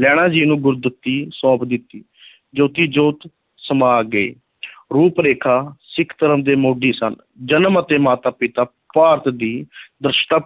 ਲਹਿਣਾ ਜੀ ਨੂੰ ਗੁਰਗੱਦੀ ਸੌਂਪ ਦਿੱਤੀ ਜੋਤੀ ਜੋਤ ਸਮਾ ਗਏ ਰੂਪ ਰੇਖਾ ਸਿੱਖ ਧਰਮ ਦੇ ਮੋਢੀ ਸਨ, ਜਨਮ ਅਤੇ ਮਾਤਾ ਪਿਤਾ ਭਾਰਤ ਦੀ